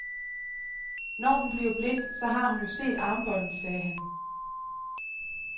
Når hun bliver blind, så har hun jo set armbåndet, sagde han.